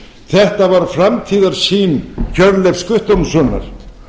þetta var framtíðarsýn hjörleifs guttormssonar